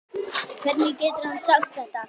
Hvernig getur hann sagt þetta?